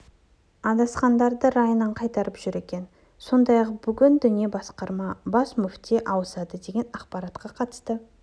адасқандарды райынан қайтарып жүр екен сондай-ақ бүгін діни басқарма бас мүфти ауысады деген ақпаратқа қатысты